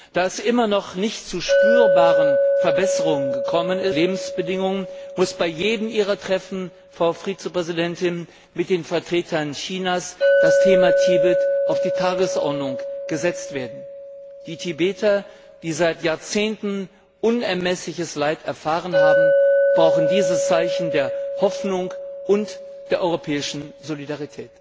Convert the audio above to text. Da es immer noch nicht zu spürbaren Verbesserungen der Lebensbedingungen gekommen ist, muss bei jedem Ihrer Treffen, Frau Vizepräsidentin, mit den Vertretern Chinas das Thema Tibet auf die Tagesordnung gesetzt werden. Die Tibeter, die seit Jahrzehnten unermessliches Leid erfahren haben, brauchen dieses Zeichen der Hoffnung und der europäischen Solidarität.